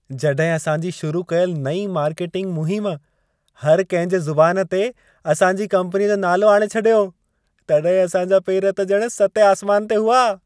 जॾहिं असां जी शुरू कयल नईं मार्केटिंग मुहिम, हर कंहिं जे ज़ुबान ते असां जी कंपनीअ जो नालो आणे छॾियो, तॾहिं असां जा पेर ॼणु सतें आसमान ते हुआ।